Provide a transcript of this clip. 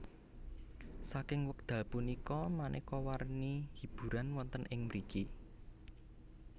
Saking wekdal punika manéka warni hiburan wonten ing mriki